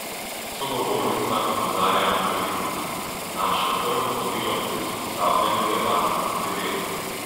Sogovornica opozarja na previdnost: "Naše prvo vodilo pri usposabljanju je varnost pri delu.